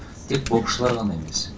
тек боксшылар ғана емес